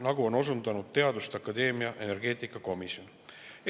Nii on osundanud teaduste akadeemia energeetikakomisjon.